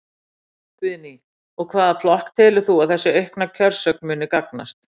Guðný: Og hvaða flokki telur þú að þessi aukna kjörsókn muni gagnast?